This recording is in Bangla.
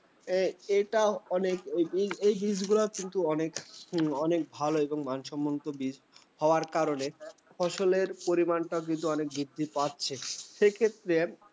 এটা অনেক এই জিনিস গুলো কিন্তু, অনেক অনেক ভাল এবং মানসম্মত বীজ হওয়ার কারণে ফসলের পরিমাণ টা কিন্তু অনেক বৃদ্ধি পাচ্ছে। সে ক্ষেত্রে